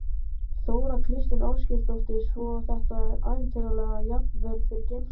Þóra Kristín Ásgeirsdóttir: Svo þetta var ævintýralegt, jafnvel fyrir geimfara?